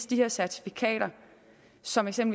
de certifikater som som